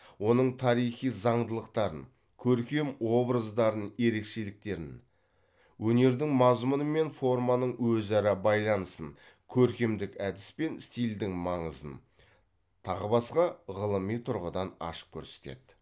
оның тарихи заңдылықтарын көркем образдардың ерекшеліктерін өнердің мазмұны мен форманың өзара байланысын көркемдік әдіс пен стильдің маңызын тағы басқа ғылыми тұрғыдан ашып көрсетеді